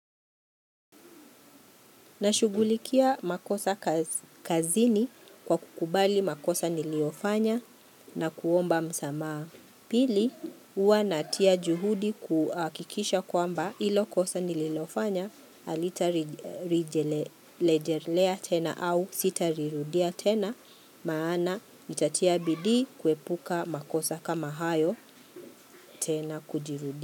Nashughulikia makosa kazini kwa kukubali makosa niliyofanya na kuomba msamaha. Pili, huwa natia juhudi kuhakikisha kwamba hilo kosa nililofanya halitarejelea tena au sitalirudia tena maana nitatia bidii kuepuka makosa kama hayo tena kujirudia.